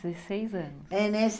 Dezesseis anos. É, nesse